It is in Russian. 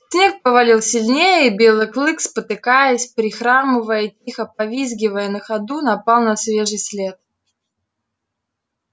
снег повалил сильнее и белый клык спотыкаясь прихрамывая и тихо повизгивая на ходу напал на свежий след